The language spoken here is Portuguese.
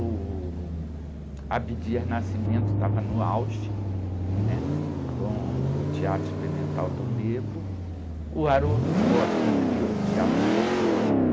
O Abdias Nascimento estava no auge, né? Com o Teatro Experimental do Negro, o Haroldo Costa criou o Teatro Folclórico,